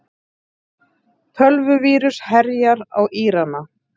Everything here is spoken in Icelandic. Tölvuvírus herjar á Írana